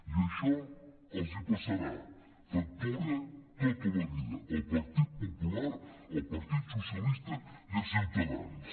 i això els passarà factura tota la vida al partit popular al partit socialista i a ciutadans